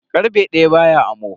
Karfe daya baya amo.